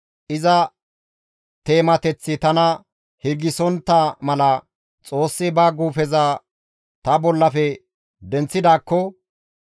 iza teemateththi tana hirgisontta mala Xoossi ba guufeza ta bollafe denththidaakko,